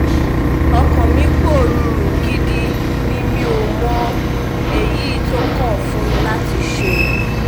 ọkàn mi pòrúurú gidi ni mi ò mọ èyí tó kàn fún mi láti ṣe